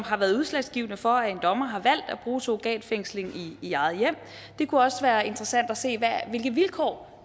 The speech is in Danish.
har været udslagsgivende for at en dommer har valgt at bruge surrogatfængsling i eget hjem det kunne også være interessant at se hvilke vilkår